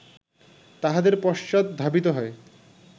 তাঁহাদের পশ্চাৎ ধাবিত হয়